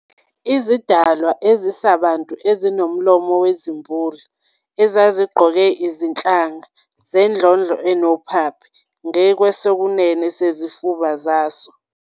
izidalwa ezisabantu ezinommomo wezimbulu, ezazigqoke izinhlanga "zendlondlo enophaphe" ngakwesokunene sezifuba zaso.